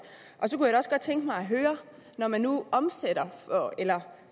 og tænke mig at høre når man nu omsætter eller